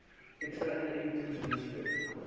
ekstra inentings misloop